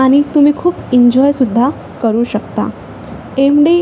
आणि तुम्ही खूप एंजॉय सुद्धा करू शकता टेमडी --